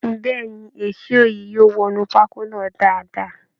Bẹ́ẹ̀ ni, èsó yìí yóò wọnú pákó náà daadaa